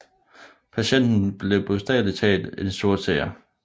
Patienten blev bogstavelig talt en sortseer